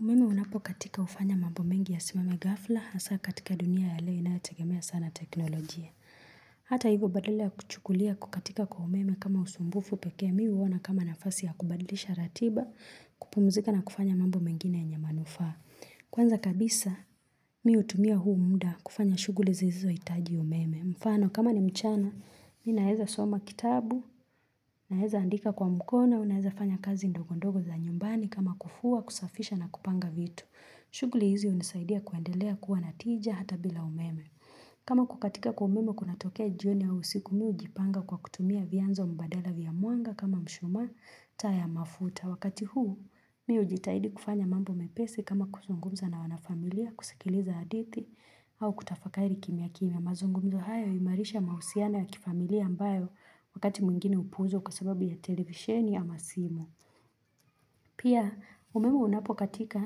Umeme unapo katika hufanya mambo mengi ya simame ghafla, hasa katika dunia ya leo ina yo tegemea sana teknolojia. Hata hivo badala ya kuchukulia kukatika kwa umeme kama usumbufu pekeemi uona kama nafasi ya kubadlisha ratiba, kupumzika na kufanya mambo mengine ye nyemanufaa. Kwanza kabisa, mihu tumia huumuda kufanya shughuli zisizo hitaji umeme. Mfano kama ni mchana, mina eza soma kitabu, na eza andika kwa mkono, auna eza fanya kazi ndogondogo za nyumbani kama kufua, kusafisha na kupanga vitu. Shughuli hizi hunisaidia kuendelea kuwa natija hata bila umeme. Kama kukatika kwa umeme kuna tokea jioni ya usiku mi hujipanga kwa kutumia vianzo mbadala vya mwanga kama mshuma taa ya mafuta. Wakati huu mi hu jitahidi kufanya mambo mepesi kama kuzungumza na wanafamilia kusikiliza hadithi au kutafakari kim ya kim ya mazungumzo hayo huimarisha mahusiana ya kifamilia ambayo wakati mwingine hupuuzwa kwa sababu ya televisheni ama simu. Pia umeme unapo katika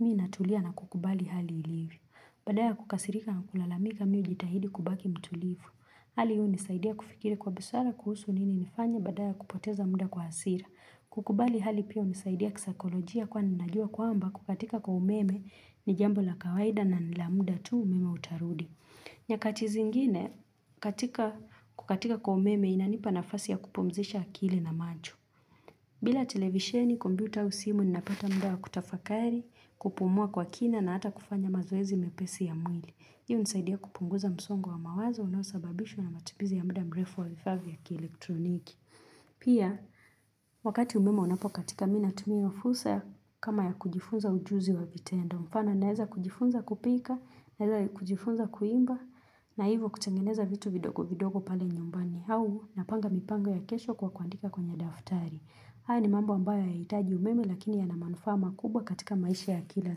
mii natulia na kukubali hali ilivyo. Baadaya kukasirika na kulalamika mii ujitahidi kubaki mtulivu. Hali hii hunisaidia kufikiri kwa busara kuhusu nini nifanye badala ya kupoteza muda kwa hasira. Kukubali hali pia hunisaidia kisaikolojia kwa ninajua kwamba kukatika kwa umeme ni jambo la kawaida na nila muda tu umeme utarudi. Nyakatizi ngine katika kukatika kwa umeme inanipa na fasi ya kupumzisha akili na macho. Bila televisheni, kombiuta ausimu, ninapata mudawa kutafakari, kupumua kwa kina na hata kufanya mazoezi mepesi ya mwili. Hii hu nisaidia kupunguza msongo wa mawazo, unosababishwa na matumizi ya muda mrefo wa vifaav ya ki-elektroniki. Pia, wakati umeme unapokatika mina, tumia hio fursa kama ya kujifunza ujuzi wa vitendo. Mfano naeza kujifunza kupika, naeza kujifunza kuimba, na hivo kutengeneza vitu vidogo vidogo pale nyumbani. Au napanga mipango ya kesho kwa kuandika kwenye daftari. Haya ni mambo ambayo haya itaji umeme lakini ya na manufaama kubwa katika maisha ya kila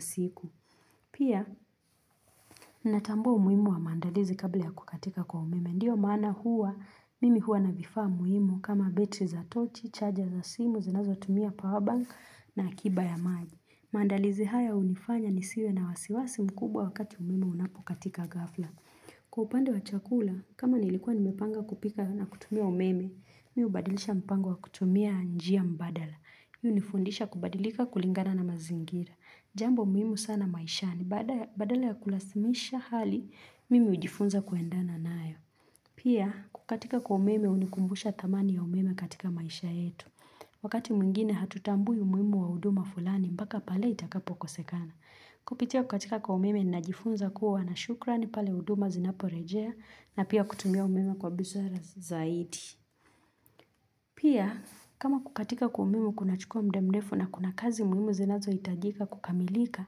siku. Pia natambua umuhimu wa maandalizi kabla ya kukatika kwa umeme. Ndiyo mana huwa, mimi huwa na vifaamu himu kama betri za tochi, chaja za simu, zinazo tumia powerbank na akiba ya maji. Maandalizi haya hunifanya nisiwe na wasiwasi mkubwa wakati umeme unapo katika ghafla. Kwa upande wa chakula, kama nilikuwa nimepanga kupika na kutumia umeme, mihu badilisha mpango wa kutumia njia mbadala. Hii hunifundisha kubadilika kulingana na mazingira. Jambo muhimu sana maisha ni badala ya kulasimisha hali, mimi hujifunza kuendana nayo. Pia, kukatika kwa umeme hunikumbusha thamani ya umeme katika maisha yetu. Wakati mwingine hatutambui umuhimu wa huduma fulani mpaka pale itakapo kosekana. Kupitia kukatika kwa umeme ni najifunza kuwa na shukra ni pale huduma zinaporejea na pia kutumia umeme kwa busara zaidi. Pia kama kukatika kwa umemu kuna chukua mdamrefu na kuna kazi muhimu zinazo itajika kukamilika,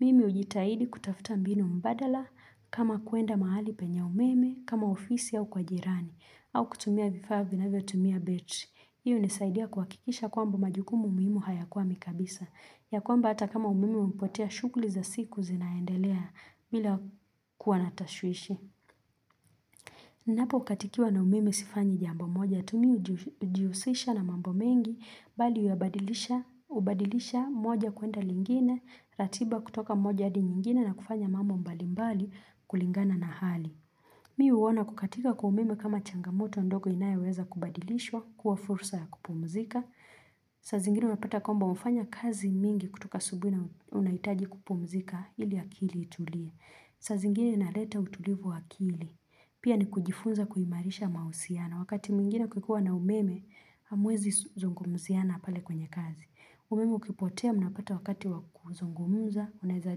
mimi ujitahidi kutafta mbinu mbadala kama kuenda mahali penya umeme kama ofisi au kwa jirani au kutumia vifaa vina vyo tumia betri. Hii hunisaidia kuhakikisha kwamba majukumu muhimu haya kwa mikabisa, ya kwamba hata kama umeme umepotea shughuli za siku zinaendelea mila kuwanatashwishi. niNapo katikiwa na umeme sifanyi jambo moja, tu mih ujiusisha na mambo mengi, bali huabadilisha moja kuenda lingine, ratiba kutoka moja hadi nyingine na kufanya mambo mbalimbali kulingana na hali. Mi huona kukatika kwa umeme kama changamoto ndogo inayoweza kubadilishwa kuwa fursa ya kupumzika. Saa zingine unapata kwamba umefanya kazi mingi kutoka asubuhi na unahitaji kupumzika ili akili itulie. Saa zingine inaleta utulivu wa akili. Pia ni kujifunza kuhimarisha mahusiano wakati mwingine kukikua na umeme hamwezi zungumziana pale kwenye kazi. Umeme ukipotea mnapata wakati wakuzungumuza, unaeza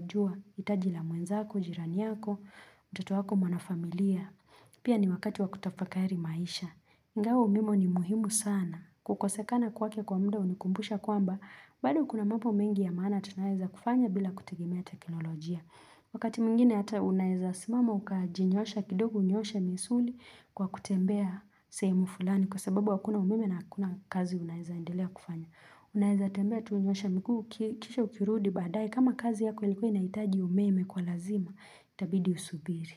jua, hitajila mwenzako, jiraniyako, mtoto wako mwanafamilia. Pia ni wakati wakutafakari maisha. Ingawa umeme ni muhimu sana. Kukosekana kwake kwa mda hunikumbusha kwamba, bado kuna mambo mengi ya maana tunayoweza kufanya bila kutegemea teknolojia. Wakati mwingine ata unaeza simama ukajinyoosha kidogou nyooshe misuli kwa kutembea sehemu fulani kwa sababu hakuna umeme na hakuna kazi unaeza endelea kufanya. Unaeza tembea tu unyooshe mguu kisha ukirudi baadaye kama kazi yako ilikuwa inahitaji umeme kwa lazima itabidi usubiri.